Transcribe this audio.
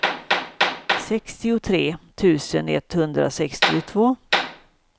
sextiotre tusen etthundrasextiotvå